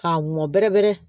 K'a mɔn bɛrɛ bɛrɛ